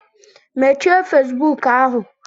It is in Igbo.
Mechie Facebook ahụ!